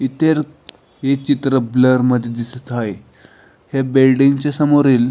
हे चित्र ब्लर मध्ये आहे ह्या बिल्डिंग समोरील --